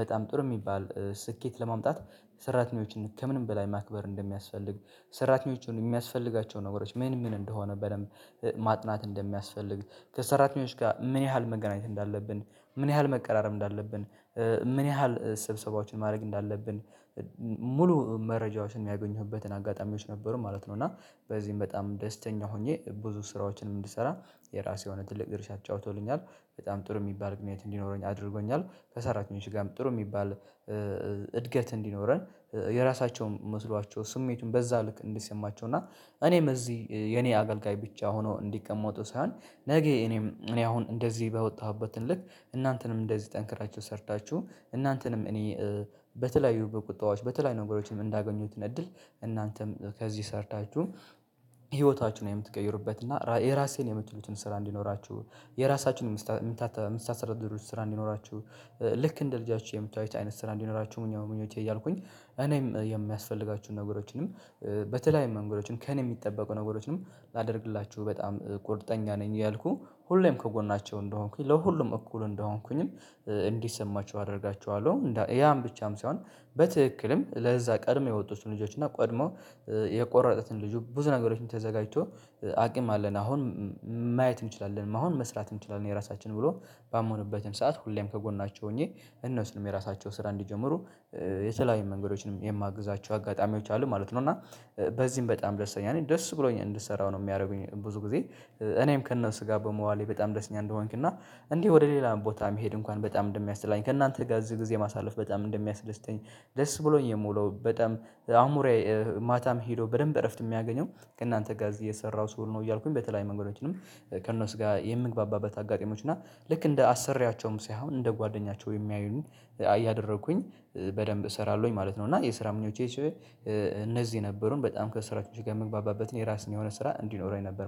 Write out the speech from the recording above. በጣም ጥሩ የሚባል ስኬት ለማምጣት ሰራተኞችን ከምንም በላይ ማክበር እንደሚያስፈልግ ሰራተኞች የሚያስፈልጋቸው ነገሮች ምን ምን እንደሆነ በደንብ ማጥናት እንደሚያስፈልግ ከሰራተኞች ጋር ምን ያህል መገናኘት እንዳለብን ምን ያህል መቀራረብ እንዳለብን ምን ያህል ስብሰባዎችን ማድረግ እንዳለብን ሙሉ መረጃዎችን የሚያገኙበትን አጋጣሚዎች ነበሩ ማለት ነው እና በዚህም በጣም ደስተኛ ሆኜ ብዙ ስራዎችንም እንድሰራ የራሴ የሆነ ትልቅ ድርሻ አጫውቶልኛል በጣም ጥሩ የሚባል ምክንያት እንዲኖረኝ አድርጎኛል ከሰራተኞች ጋርም ጥሩ የሚባል እድገት እንዲኖረን የራሳቸውም መስሏቸው ስሜቱን በዛ ልክ እንዲሰማቸው እና እኔም እዚህ የኔ አገልጋይ ብቻ ሆኖ እንዲቀመጡ ሳይሆን ነገ እኔም እኔ አሁን እንደዚህ ባወጣሁበት ልክ እናንተንም እንደዚህ ጠንክራችሁ ሰርታችሁ እናንተንም እኔ በተለያዩ በቁጠባዎች በተለያዩ ነገሮችንም እንዳገኙት እድል እናንተም ከዚህ ሰርታችሁ ህይወታችሁን የምትቀይሩበት እና የራሴን የምትሉትን ስራ እንዲኖራችሁ የራሳችሁን የምታስተዳድሩት ስራ እንዲኖራችሁ ልክ እንደ ልጃችሁ የምታዩት አይነት ስራ እንዲኖራችሁ ነው ምኞቴ እያልኩኝ እኔም የሚያስፈልጋችሁን ነገሮችንም በተለያዩ መንገዶችን ከእኔ የሚጠበቁ ነገሮችንም ላደርግላችሁ በጣም ቁርጠኛ ነኝ ያልኩኝ ሁሌም ከጎናቸው እንደሆንኩኝ ለሁሉም እኩል እንደሆንኩኝም እንዲሰማቸው አደርጋቸዋለሁ ያም ብቻም ሳይሆን በትክክልም ለዛ ቀድሞ የወጡትን ልጆች እና ቀድሞ የቆረጡትን ልጁ ብዙ ነገሮችን ተዘጋጅቶ አቅም አለን አሁን ማየት እንችላለን አሁን መስራት እንችላለን የራሳችን ብሎ ባመኑበትም ሰዓት ሁሌም ከጎን ናቸው ሆኜ እነሱንም የራሳቸው ስራ እንዲጀምሩ የተለያየ መንገዶችንም የማግዛቸው አጋጣሚዎች አሉ ማለት ነው እና በዚህም በጣም ደስተኛ ነኝ እኔ ደስ ብሎኝ እንድሰራው ነው የሚያደርጉኝ ብዙ ጊዜ እኔም ከነሱ ጋር በመዋሌ በጣም ደስኛ እንደሆንክና እና እንዲህ ወደ ሌላ ቦታ መሄድ እንኳን በጣም እንደሚያጠላኝ ከእናንተ ጋር እዚህ ጊዜ ማሳለፍ በጣም እንደሚያስደስተኝ ደስ ብሎኝ የምውለው በጣም አምሮየ ማታም ሄዶ በደንብ እረፍት የሚያገኘው ከእናንተ ጋ እዚህ እየሰራሁ ስውል ነው እያልኩኝ በተለይ መንገዶችንም ከእነሱ ጋር የምግባባበት አጋጣሚዎች እና ልክ እንደ አሰሪያቸውም ሳይሆን እንደ ጓደኛቸው የሚያዩኝ ያደረኩኝ በደንብ እሰራለሁኝ ማለት ነው እና የስራ ምኞቼ እነዚህ የነበሩን በጣም ከስራችሁ ጋር መግባባበት የራስን የሆነ ስራ እንዲኖረኝ ነበር